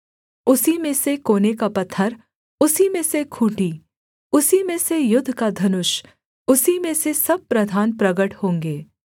उसी में से कोने का पत्थर उसी में से खूँटी उसी में से युद्ध का धनुष उसी में से सब प्रधान प्रगट होंगे